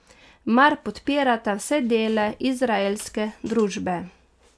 Mar podpirata vse dele izraelske družbe?